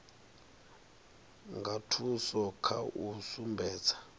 nga thusa kha u sumbedza